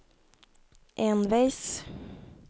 enveis